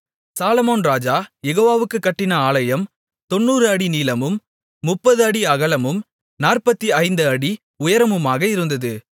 சாலொமோன் ராஜா யெகோவாவுக்குக் கட்டின ஆலயம் 90 அடி நீளமும் 30 அடி அகலமும் 45 அடி உயரமுமாக இருந்தது